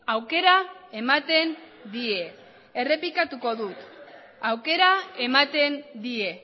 aukera ematen die errepikatuko dut aukera ematen die